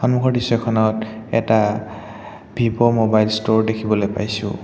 সন্মুখৰ দৃশ্যখনত এটা ভিভ' মোবাইল ষ্টোৰ দেখিবলে পাইছোঁ।